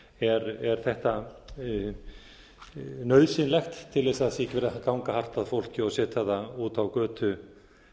nauðsynlegt til þess að það sé ekki verið að ganga hart að fólki og setja það út á götu